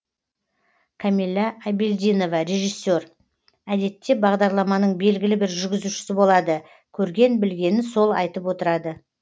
камилла абдельдинова режиссер әдетте бағдарламаның белгілі бір жүргізушісі болады көрген білгенін сол айтып отырады